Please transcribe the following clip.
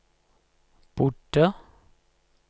bodde